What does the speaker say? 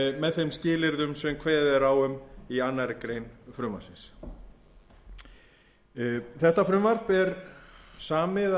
með þeim skilyrðum sem kveðið er á um í annarri grein frumvarpsins þetta frumvarp er samið af þeim